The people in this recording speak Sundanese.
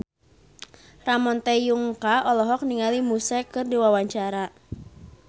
Ramon T. Yungka olohok ningali Muse keur diwawancara